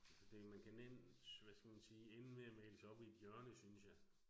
Altså det, man kan nemt hvad skal man sige indlemme male sig op i et hjørne synes jeg